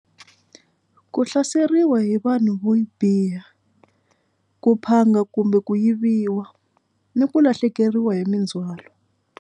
Ku hlaseriwa hi vanhu vo biha ku maphanga kumbe ku yiviwa ni ku lahlekeriwa hi mindzhwalo.